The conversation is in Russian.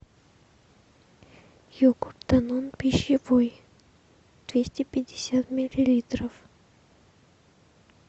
йогурт данон пищевой двести пятьдесят миллилитров